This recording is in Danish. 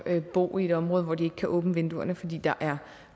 bo i et område hvor de ikke kan åbne vinduerne fordi der er